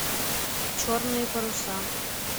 черные паруса